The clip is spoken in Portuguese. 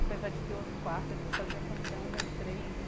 Apesar de ter outro quarto, a gente fazia questão das três.